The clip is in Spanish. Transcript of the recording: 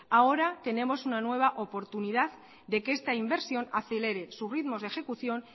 ahora tenemos una nueva oportunidad de que esta inversión acelere sus ritmos de ejecución